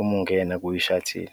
uma ungena kwi-shuttle.